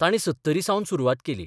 तांणी सत्तरीसावन सुरवात केली.